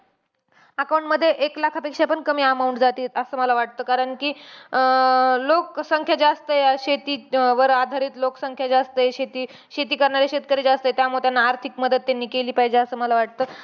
Account मध्ये एक लाखापेक्षा पण कमी amount जातीये, असं मला वाटतं. कारण कि अं लोकसंख्या जास्त आहे. शेती अं वर आधारित लोकसंख्या जास्त आहे. शेती शेती करणारे शेतकरी जास्त आहेत. त्यामुळे त्यांना आर्थिक मदत त्यांनी केली पाहिजे, असं मला वाटतं.